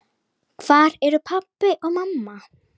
Hvar eru pabbi og mamma?